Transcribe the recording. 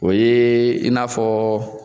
O yee i n'a fɔɔ